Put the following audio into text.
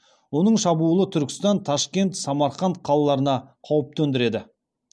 оның шабуылы түркістан ташкент самарқанд қалаларына қауіп төндіреді